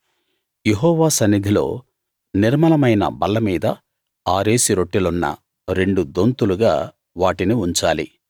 యెహోవా సన్నిధిలో నిర్మలమైన బల్లమీద ఆరేసి రొట్టెలున్న రెండు దొంతులుగా వాటిని ఉంచాలి